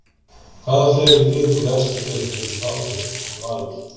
Hvaða fleiri lið úr efstu deild vildu fá þig en Valur?